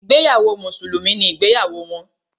Ìgbéyàwó mùsùlùmí ni ìgbéyàwó wọn.